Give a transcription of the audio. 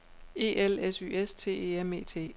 E L S Y S T E M E T